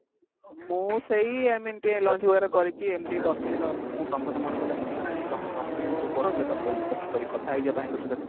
ମୁଁ ସେଇ ଏମତି lunch ବଗେରା କରିକି ଏମତି ବସିଥିଲି ତ ମୁଁ ତମ କଥା ମନେ ପଡିଲା କଣ କରିବି କଥା ହେଇଯିବା ଭାଇଙ୍କ ସହିତ ଟିକେ